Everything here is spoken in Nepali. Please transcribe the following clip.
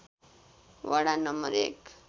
वडा नं. १